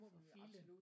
For filan